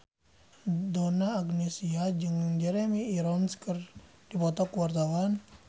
Donna Agnesia jeung Jeremy Irons keur dipoto ku wartawan